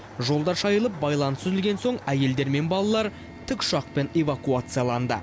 жолдар шайылып байланыс үзілген соң әйелдер мен балалар тікұшақпен эвакуацияланды